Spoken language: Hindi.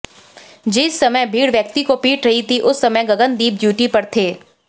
जिस समय भीड़ व्यक्ति को पीट रही थी उस समय गगनदीप ड्यूटी पर थे